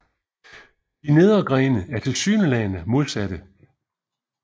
De nedre grene er tilsyneladende modsatte